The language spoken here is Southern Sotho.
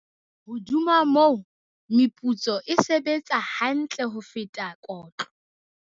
Hodima moo, meputso e sebetsa ha ntle ho feta kotlo.